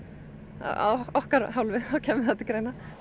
af okkar hálfu þá kæmi það til greina